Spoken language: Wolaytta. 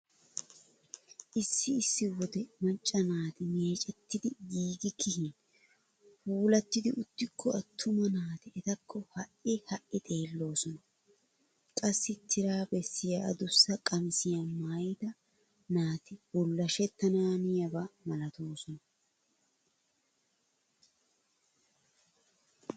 Issi issi wode macca naati meecetti giigi keehin puulattidi uttikko attuma naati etakko ha"i ha"i xelloosona. Qassi tira bessiya adussa qamisiya maayida naati bullashettanaaniyaba malatoosona.